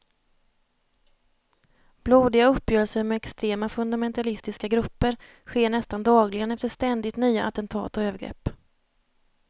Blodiga uppgörelser med extrema fundamentalistiska grupper sker nästan dagligen efter ständigt nya attentat och övergrepp.